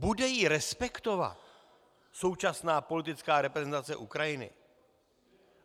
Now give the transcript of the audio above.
Bude ji respektovat současná politická reprezentace Ukrajiny?